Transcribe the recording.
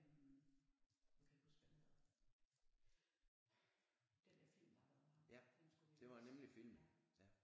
Øh nu kan jeg ikke huske hvad den hedder den der film der har været med ham den skulle vi have vist ja